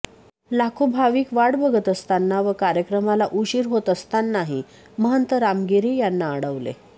लाखो भाविक वाट बघत असताना व कार्यक्रमाला उशिर होत असतानाही महंत रामगिरी यांना अडवले